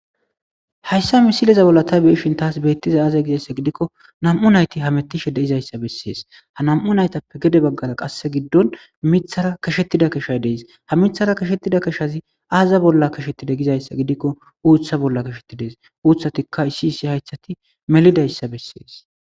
Hayssa misileza bolla ta beishin taas beettiza aaze gizayssa gidikko nam7u nayti ha mettishe deizayssa bessees ha nam7u naytappe gede baggara qasse giddon mithara kashettida kashay dees ha mithara kashettida keshazi aaza bolla kashettida gizayssa gidikko uutha bolla kashettidees uuthati kaysiisi haythati melidayssa bessees